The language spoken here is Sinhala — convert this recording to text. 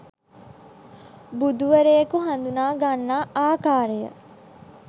බුදුවරයකු හඳුනාගන්නා ආකාරය